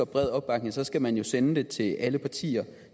bred opbakning skal man sende det til alle partier